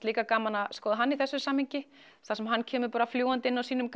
líka gaman að skoða hann í þessu samhengi þar sem hann kemur bara fljúgandi inn á sínum